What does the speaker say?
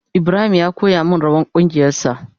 Ibrahim ya koya min rawan kungiyan sa.